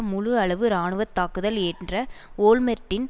முழுஅளவு இராணுவ தாக்குதல் என்ற ஓல்மெர்ட்டின்